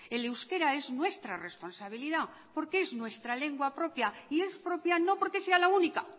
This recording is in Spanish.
el euskera es nuestra responsabilidad porque es nuestra lengua propia y es propia no porque sea la única